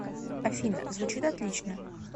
афина звучит отлично